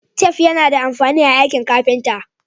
Tef yAna da amfani a aiki carpenter